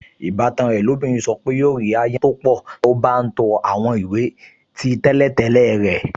Ìbátan rẹ̀ lóbìnrin sọ pé yóò rí ááyán tó pọ̀ tí ó bá ń to àwọn ìwé tí tẹ́lẹ̀tẹ́lẹ̀ rẹ̀